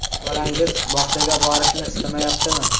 Bolangiz bog‘chaga borishni istamayaptimi?